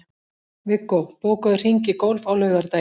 Viggó, bókaðu hring í golf á laugardaginn.